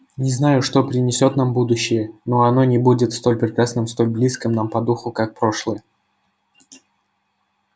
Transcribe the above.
не знаю что принесёт нам будущее но оно не будет столь прекрасным столь близким нам по духу как прошлое